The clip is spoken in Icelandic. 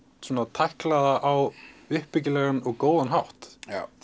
tækla það á uppbyggilegan og góðan hátt